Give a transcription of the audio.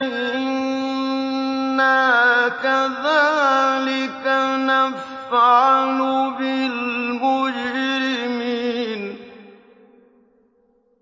إِنَّا كَذَٰلِكَ نَفْعَلُ بِالْمُجْرِمِينَ